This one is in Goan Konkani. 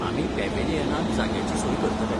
आमी पॅव्हिलियनांत जाग्याची सोय करतले.